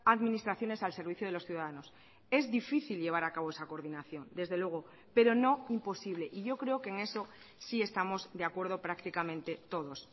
administraciones al servicio de los ciudadanos es difícil llevar a cabo esa coordinación desde luego pero no imposible y yo creo que en eso sí estamos de acuerdo prácticamente todos